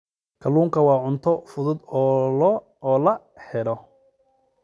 Kalluunku waa cunto fudud oo la helo.